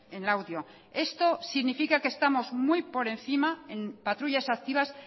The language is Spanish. en laudio esto significa que estamos muy por encima en patrullas activas